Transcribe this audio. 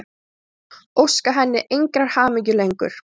Óska henni engrar hamingju lengur.